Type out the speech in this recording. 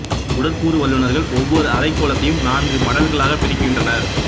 உடற்கூறு வல்லுநர்கள் ஒவ்வொரு அரைக் கோளத்தையும் நான்கு மடல்களாக பிரிக்கின்றனர்